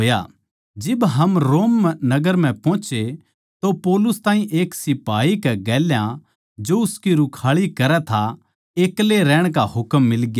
जिब हम नगर म्ह पोहोचे तो पौलुस ताहीं एक सिपाही कै गेल्या जो उसकी रूखाळी करै था एक्ले रहण का हुकम मिलग्या